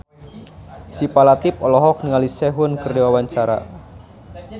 Syifa Latief olohok ningali Sehun keur diwawancara